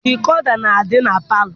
Dikoda na-adị na palọ.